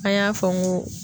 An y'a fɔ n ko